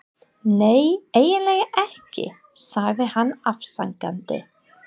Nei, eiginlega ekki, sagði hann afsakandi.